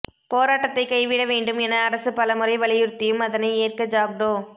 போராட்டத்தை கைவிட வேண்டும் என அரசு பலமுறை வலியுறுத்தியும் அதனை ஏற்க ஜாக்டோ